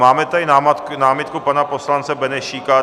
Máme tady námitku pana poslance Benešíka.